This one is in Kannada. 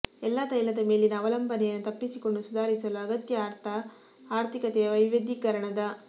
ಎಲ್ಲಾ ತೈಲದ ಮೇಲಿನ ಅವಲಂಬನೆಯನ್ನು ತಪ್ಪಿಸಿಕೊಂಡು ಸುಧಾರಿಸಲು ಅಗತ್ಯ ಅರ್ಥ ಆರ್ಥಿಕತೆಯ ವೈವಿಧ್ಯೀಕರಣದ